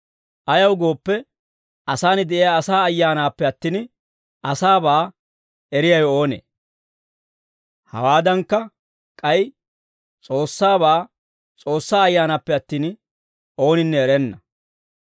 Ayaw gooppe, asaan de'iyaa asaa ayyaanaappe attin, asaabaa eriyaawe oonee? Hawaadankka, k'ay S'oossaabaa S'oossaa Ayyaanaappe attin, ooninne erenna.